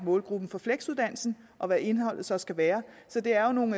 målgruppen for fleksuddannelsen og hvad indholdet så skal være så det er jo nogle